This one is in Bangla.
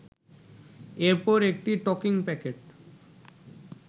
এরপর একটি টকিং প্যাকেট